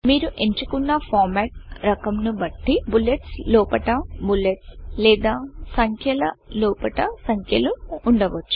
మీరు ఎంచుకున్న ఫార్మాట్ రకం ను బట్టి బుల్లెట్స్ లోపట బుల్లెట్స్ లేదా సంఖ్యల లోపట సంఖ్యలు ఉండవచ్చు